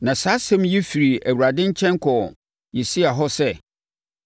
Na saa asɛm yi firi Awurade nkyɛn kɔɔ Yesaia hɔ sɛ,